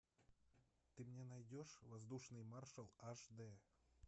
ты мне найдешь воздушный маршал аш дэ